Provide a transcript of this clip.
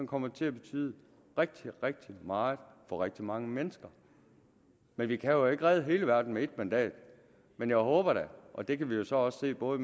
kommer til at betyde rigtig rigtig meget for rigtig mange mennesker vi vi kan jo ikke redde hele verden med et mandat men jeg håber da og det kan vi jo så også se både